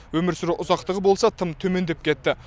өмір сүру ұзақтығы болса тым төмендеп кетті